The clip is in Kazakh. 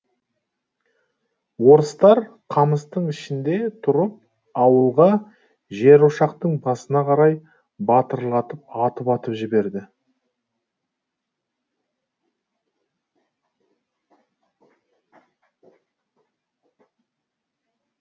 орыстар қамыстың ішінде тұрып ауылға жерошақтың басына қарай батырлатып атып атып жіберді